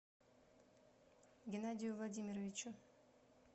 геннадию владимировичу